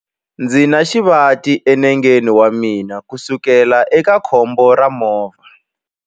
Ndzi na xivati enengeni wa mina kusukela eka khombo ra movha.